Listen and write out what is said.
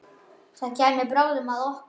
Það kæmi bráðum að okkur.